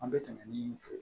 An bɛ tɛmɛ ni